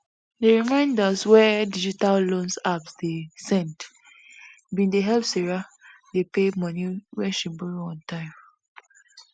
di reminders wey digital loan apps dey send bin dey help sarah dey pay money wey she borrow on time